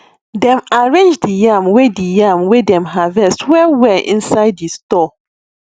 dem arrange di yam wey di yam wey dem harvest well well inside di store